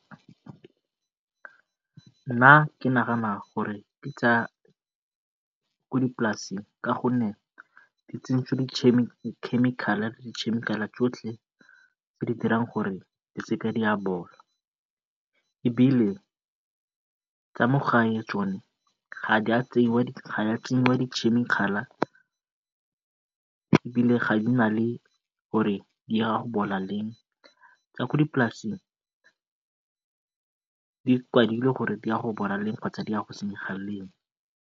Nna ke nagana gore ke tsa ko dipolaseng ka gonne di tsentswe dikhemikhale tsotlhe tse di dirang gore di se ke di a bola, e bile tsa mo gae tsone ga di a dikhemikhale ebile ga di na gore di a bola leng. Tsa ko dipolaseng di kwadilwe gore di a go bola leng kgotsa di a go senyega leng.